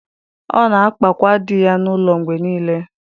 Ọ na-akpakwa di ya n’ụlọ mgbe niile.